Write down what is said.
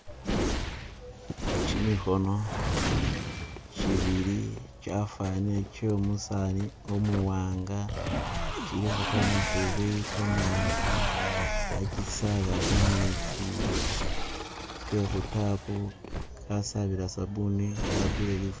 Gimikhono gibili gyafanile gyomusani umuwanga gilikho gamafubi gamanji khagisaba gametsi ge khu tap khasabila sabbuni nga akhupile lifulo